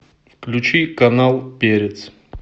включи канал перец